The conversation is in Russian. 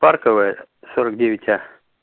парковая сорок девять а